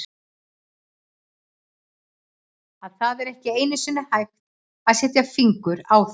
að það er ekki einusinni hægt að setja fingur á þau.